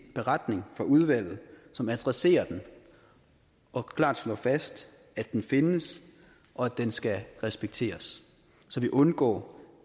en beretning fra udvalget som adresserer den og klart slår fast at den findes og at den skal respekteres så vi undgår